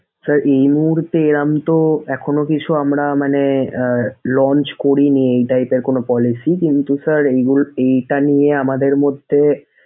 sir এই মূহুর্তে এরকম তো এখনো কিছু আমরা মানে আহ launch করিনি এই type এর কোনো policy কিন্তু sir এগুল এইটা নিয়ে আমাদের মধ্যে।